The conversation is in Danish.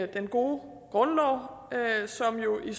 den gode grundlov som jo i